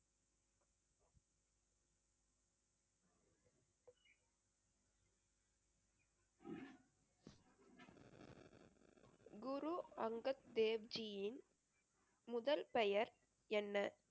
குரு அங்கத் தேவ் ஜியின் முதல் பெயர் என்ன?